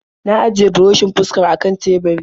Na ajiye burushin fuskar a kan teburi.